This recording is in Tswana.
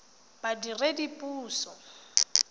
badiredipuso